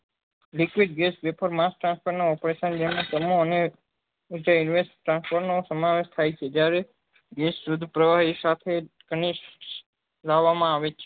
Liquid gas vapour transfer નાં opretation સમૂહ અને નીચે transfer નો સમાવેશ થાય છે જ્યારે પ્રવાહી સાથે ખનીજ લાવવા માં આવે છે